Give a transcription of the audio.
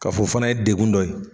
K'a fɔ o fana ye degun dɔ ye